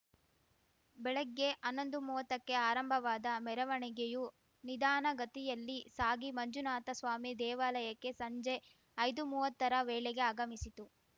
ಬೆಳಗ್ಗೆ ಹನ್ನೊಂದುಮುವ್ವತ್ತಕ್ಕೆ ಆರಂಭವಾದ ಮೆರವಣಿಗೆಯು ನಿಧಾನಗತಿಯಲ್ಲಿ ಸಾಗಿ ಮಂಜುನಾಥಸ್ವಾಮಿ ದೇವಾಲಯಕ್ಕೆ ಸಂಜೆ ಐದುಮುವ್ವತ್ತರ ವೇಳೆಗೆ ಆಗಮಿಸಿತು